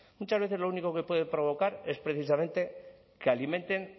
muchas veces lo único que puede provocar es precisamente que alimenten